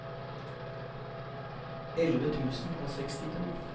elleve tusen og sekstito